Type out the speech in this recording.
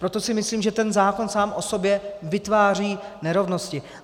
Proto si myslím, že ten zákon sám o sobě vytváří nerovnosti.